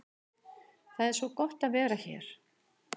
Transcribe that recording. Það er svo gott að vera hér.